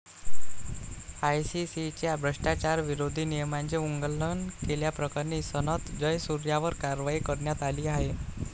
आयसीसीच्या भ्रष्टाचारविरोधी नियमाचे उल्लंघन केल्याप्रकरणी सनथ जयसूर्यावर कारवाई करण्यात आली आहे.